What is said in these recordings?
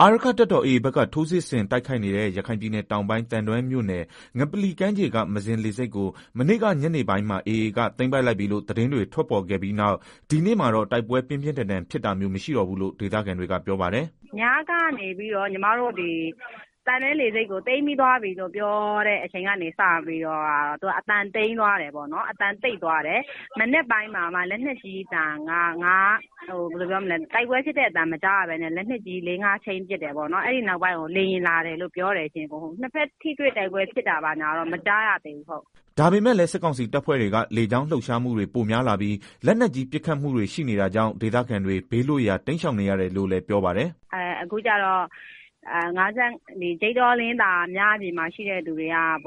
အာရက္ခတပ်တော် AA ဘက်က ထိုးစစ်ဆင်တိုက်ခိုက်နေတဲ့ ရခိုင်ပြည်နယ်တောင်ပိုင်း သံတွဲမြို့ နယ် ငပလီကမ်းခြေက မဇင်လေဆိပ်ကို မနေ့ကညနေပိုင်းက AA ဘက်က သိမ်းလိုက်ပြီလို့ သတင်းတွေ ထွက်ပေါ်ခဲ့ပြီးနောက် ဒီနေ့မှာတော့ တိုက်ပွဲ ပြင်းပြင်းထန်ထန် ဖြစ်တာမျိုး မရှိတော့ဘူးလို့ ဒေသခံတွေက ပြောပါတယ်။ “ ညကနေပြီးတော့ သံတွဲလေဆိပ်ကို သိမ်းပြီးပြီလို့ ပြောကတည်းက အသံကတော့ တိတ်သွားတယ်၊ ဒီမနက်မှာလည်း တိုက်ပွဲဖြစ်တဲ့ အသံမကြားရဘူး။ လက်နက်ကြီးသံတော့ ၅ချက် လောက် ပစ်တယ် အဲဒီနောက်ပိုင်းကို လေယာဉ်လာတယ်လို့ပြောတယ်၊ နှစ်ဖက်ထိတွေ့တိုက် ပွဲဖြစ်တာတော့ မကြားရသေးဘူးဟုတ်။” ဒါပေမဲ့လည်း စစ်ကောင်စီတပ်ဖွဲ့တွေက လေကြောင်းလှုပ်ရှားမှုတွေ ပိုများလာပြီး၊ လက်နက်ကြီး ပစ်ခတ်မှုတွေ ရှိနေတာကြောင့် ဒေသခံတွေ ဘေးလွတ်ရာ တိမ်းရှောင်နေရတယ်လို့လည်း ပြောပါတယ်။ “ အခုကတော့ ဂျိတ်တော၊ လင်းသာ အဲဒီမှာ ရှိတဲ့သူတွေထဲက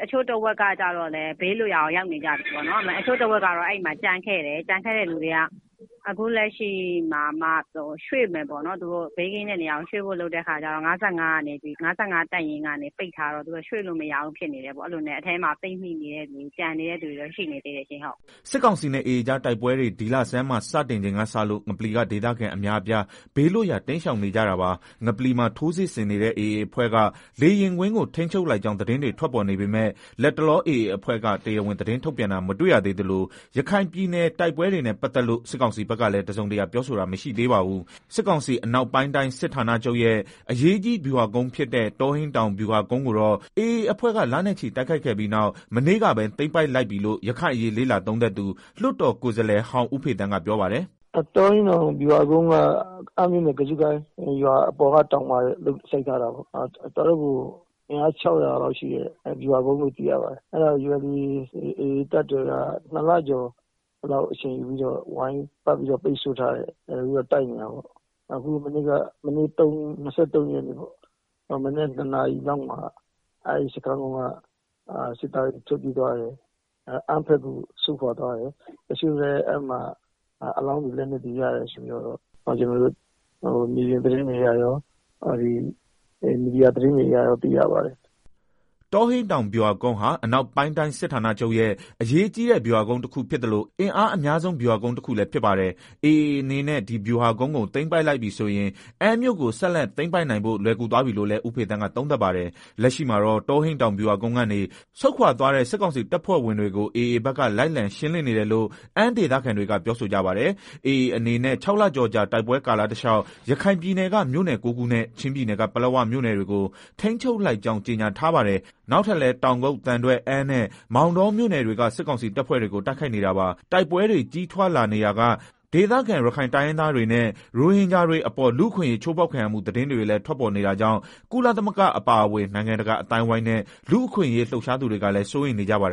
တချို့တဝက်ကတော့ ဘေးလွတ်ရာကို ရောက်နေကြပြီ၊ တချို့ကတော့ အဲဒီမှာ ကျန်ခဲ့တယ်။ ကျန်ခဲ့တဲ့ သူတွေက အခုလက်ရှိမှာမှ ဘေးကင်းမဲ့နေရာကိုရွှေ့ဖို့လုပ်နေကြတဲ့ အခါကျတော့ ၅၅တပ်ရင်းကနေ ပိတ်ထားတော့ သူတို့က ရွှေ့လို့မရဘူး၊ ဒီလိုနဲ့ အထဲမှာ ပိတ်မိနေတဲ့သူ ကျန်နေတဲ့သူတွေ ရှိနေသေးတယ်။” စစ်ကောင်စီနဲ့ AAကြား တိုက်ပွဲတွေ ဒီလဆန်းမှာ တိုက်ပွဲတွေ စတင်ချိန်ကစလို့ ငပလီက ဒေသခံအများအပြား ဘေးလွတ်ရာ တိမ်းရှောင်နေကြတာပါ။ ငပလီမှာ ထိုးစစ်ဆင်နေတဲ့ AA အဖွဲ့က လေယာဉ်ကွင်းကို ထိန်းချုပ်လိုက်ကြောင်း သတင်းတွေ ထွက်ပေါ်နေပေမဲ့ လတ်တလော AA အဖွဲ့က တရားဝင် သတင်းထုတ်ပြန်တာ မတွေ့ရသေးသလို ရခိုင်ပည်နယ်က တိုက်ပွဲတွေနဲ့ ပတ်သက်လို့ စစ်ကောင်စီဖက်ကလည်း တစုံတရာ ပြောဆိုတာ မရှိသေးပါဘူး။ စစ်ကောင်စီအနောက်ပိုင်တိုင်းစစ်ဌာနာချုပ်ရဲ့ အရေးကြီးဗျူဟာကုန်းဖြစ်တဲ့ တောဟိန်းတောင်ဗျူဟာကုန်းကိုတော့ AA အဖွဲ့က လနဲ့ချီတိုက်ခိုက်ခဲ့ပြီးနောက် မနေ့ကပဲ သိမ်းပိုက်လိုက်ပြီလို့ ရခိုင်အရေးလေ့လာသုံးသပ်သူ လွတ်တော်ကိုယ်စားလှယ်ဟောင်း ဦးဖေသန်းကပြောပါတယ်။ “တောဟိန်းတောင် ဗျူဟာကုန်းက အမ်းမြို့နယ် ကဇုကိုင်းရွာအထက်မှာရှိတာပေါ့ တော်တော့ကို အင်းအား ၆ဝဝလောက်ရှိတဲ့ ဗျူဟာကုန်းပေါ့၊ အဲတာကို AAတပ်တော်က ၂လကျော်လောက် အချိန်ယူပြီးတော့ ဝိုင်းပတ်ပြီးတော့ ပိတ်ဆို့တိုက်ခိုက်နေတာ မနေ့က မနက် ၂နာရီလောက်မှာ အဲဒီစခန်းက စစ်သားတွေ ထွက်ပြေးသွားတယ်၊ အမ်းဘက်ကို ဆုတ်ခွာသွားတယ်၊အဲမှာ အလောင်းတွေ လက်နက်တွေ ရတယ်ဆိုပြီး ကျနော်တို့ မြေပြင်သတင်းတွေအရရော မီဒီယာသတင်းတွေအရ သိရပါတယ်။” တောဟိန်းတောင် ဗျူဟာကုန်းက အနောက်ပိုင်းတိုင်းစစ်ဌာနချုပ်ရဲ့ အကြီးဗျူဟာကုန်း တခုဖြစ်သ လို အင်အားအများဆုံးဗျူဟာကုန်းတခုလည်းဖြစ်ပါတယ်။ AAအနေနဲ့ ဒီဗျူဟာကုန်းကို သိမ်းလိုက်ပြီဆိုရင် အမ်းမြို့ကို ဆက်လက်သိမ်းပိုက်နိုင်ဖို့ လွယ်ကူ သွားပြီးလို့လည်း ဦးဖေသန်းကသုံးသပ်ပါတယ်။ လက်ရှိမှာတော့ တောဟိန်းဗျူဟာကုန်းကနေ ဆုတ်ခွာသွားတဲ့ စစ်ကောင်စီတပ်ဖွဲ့ဝင်တွေ AA ဘက်က လိုက်လံရှင်းနေတယ် လို့အမ်း ဒေသခံတွေက ပြောဆိုကြပါတယ်။ AA အနေနဲ့ ၆လကျော်ကြာ တိုက်ပွဲကာလတလျောက် ရခိုင်ပြည်နယ်က မြို့နယ် ၉ခုနဲ့ ချင်းပြည်နယ်က ပလက်ဝမြို့နယ်တွေကို ထိန်းချုပ်လိုက်ကြောင်း ကြေညာထားပါတယ်။ နောက်ထပ်လည်း တောင်ကုတ်၊ သံတွဲ၊ အမ်းနဲ့ မောင်တောမြို့ နယ်တွေက စစ်ကောင်စီတပ်ဖွဲ့တွေကို တိုက်ခိုက်နေတာပါ။ တိုက်ပွဲတွေ ကြီးထွားလာနေရာက ဒေသခံ ရခိုင်တိုင်းရင်းသားတွေနဲ့ ရိုဟင်ဂျာတွေအပေါ် လူ့အခွင့်အရေး ချိုးဖောက်ခံရမှု သတင်းတွေလည်း ထွက်ပေါ်နေတာကြောင့် ကုလသမဂ္ဂ အပါအဝင် နိုင်ငံတကာ အသိုင်းအဝိုင်းနဲ့ လူ့အခွင့်အရေး လှုပ်ရှားသူတွေကလည်း စိုးရိမ်နေကြပါတယ်